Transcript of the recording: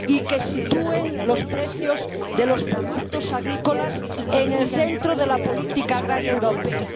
y que sitúen los precios de los productos agrícolas en el centro de la política agrícola europea.